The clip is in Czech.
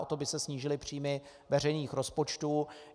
O to by se snížily příjmy veřejných rozpočtů.